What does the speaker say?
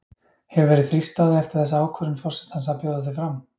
Hefur verið þrýst á þig eftir þessa ákvörðun forsetans að bjóða þig fram?